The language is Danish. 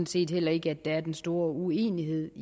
set heller ikke at der er den store uenighed